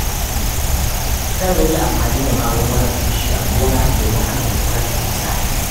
Zan rage amfani da magungunan feshi a gona domin hana gurɓatar ƙasa.